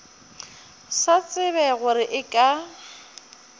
sa tsebe gore e ka